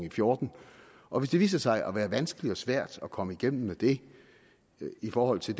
og fjorten og hvis det viser sig at være vanskeligt og svært at komme igennem med det i forhold til